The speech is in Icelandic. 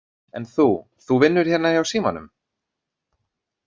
En þú, þú vinnur hérna hjá símanum?